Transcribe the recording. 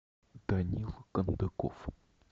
данил кондаков